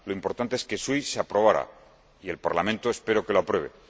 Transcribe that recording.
está lo importante es que SWIFT se aprobara, y el Parlamento espero que lo apruebe